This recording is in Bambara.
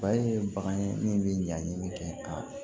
ye bagan ye min bɛ ɲaɲini kɛ ka